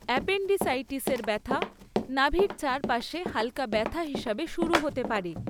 অ্যাপেন্ডিসাইটিসের ব্যথা নাভির চারপাশে হাল্কা ব্যথা হিসাবে শুরু হতে পারে।